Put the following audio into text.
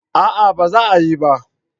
A'a ba za a yi ba